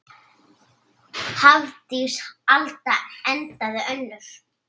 Hafdís Alda endaði önnur.